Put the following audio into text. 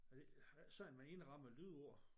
Er det er det ikke sådan man indrammer lydord?